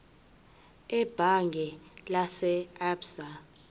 ebhange lase absa